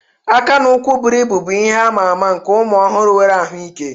Aka na ụkwụ buru ibu bụ ihe ama ama nke ụmụ ọhụrụ nwere ahụike.